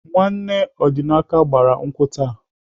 Nwanne Ọdịnaka gbara nkwụ taa.